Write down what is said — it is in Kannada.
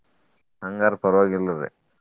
ಹಂಗಾರ ಪರ್ವಾಗಿಲ್ರಿ.